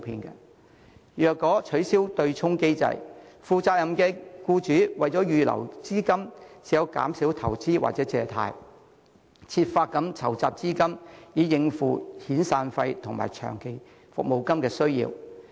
若取消對沖機制，負責任的僱主為預留資金，唯有減少投資或借貸，設法籌集資金以應付遣散費和長期服務金的需要。